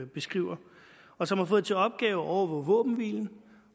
beskriver og som har fået til opgave at overvåge våbenhvilen